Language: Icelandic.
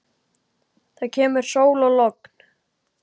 Það kemur sól og logn.